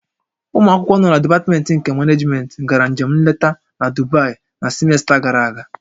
Ụmụ akwụkwọ nọ na dipatmentị nke Manejmentị gara njem nleta na Dubai na simesta gàrà aga